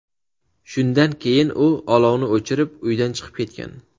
Shundan keyin u olovni o‘chirib, uydan chiqib ketgan.